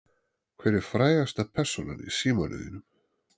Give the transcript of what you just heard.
Hver er frægasta persónan í símanum þínum?